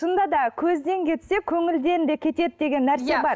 шынында да көзден кетсе көңілден де кетеді деген нәрсе бар